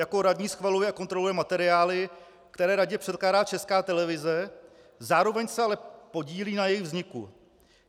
Jako radní schvaluje a kontroluje materiály, které radě předkládá Česká televize, zároveň se ale podílí na jejich vzniku.